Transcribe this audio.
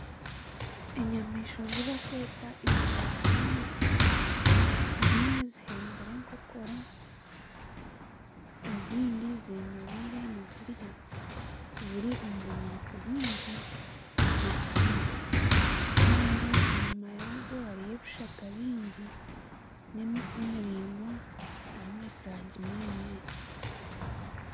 Enyamaishwa ezi barikweta ekuraruhembe zimwe zihenzire enkonkora ezindi zemerire nizirya ziri omu bunyaatsi bwingi bubisi kandi enyuma yaazo hariyo ebishaka byingi n'emiti miraingwa y'amataagi mingi.